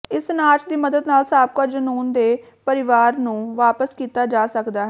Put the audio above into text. ਇਸ ਨਾਚ ਦੀ ਮਦਦ ਨਾਲ ਸਾਬਕਾ ਜਨੂੰਨ ਦੇ ਪਰਿਵਾਰ ਨੂੰ ਵਾਪਸ ਕੀਤਾ ਜਾ ਸਕਦਾ ਹੈ